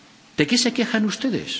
¿De qué se quejan ustedes?